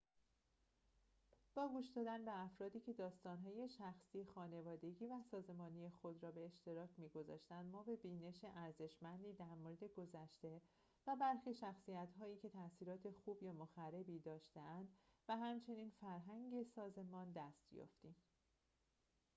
با گوش دادن به افرادی که داستان‌های شخصی خانوادگی و سازمانی خود را به اشتراک می‌گذاشتند ما به بینش ارزشمندی در مورد گذشته و برخی شخصیتهایی که تاثیرات خوب یا مخربی داشته‌اند و همچنین فرهنگ سازمان دست یافتیم